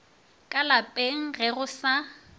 ka lapeng ge go sa